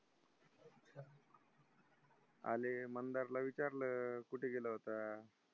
आले मंदारला विचारलं, कुठे गेला होता?